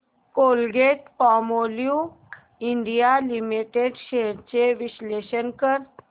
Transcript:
Colgate Palmolive India limited shares चे विश्लेषण कर